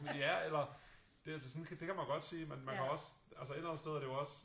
Ja eller det altså sådan det kan man godt sige men man kan også altså et eller andet sted er det jo også